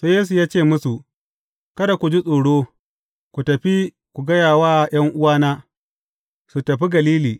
Sai Yesu ya ce musu, Kada ku ji tsoro, ku tafi ku gaya wa ’yan’uwana, su tafi Galili.